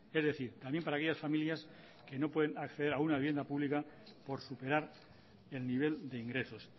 es decir también para aquellas familias que no pueden acceder a una vivienda pública por superar el nivel de ingresos